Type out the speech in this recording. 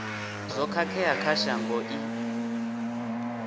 zwo khakhea kha shango i